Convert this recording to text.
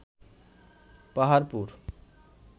Paharpur